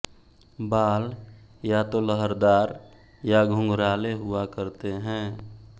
बाल या तो लहरदार या घुंघराले हुआ करते हैं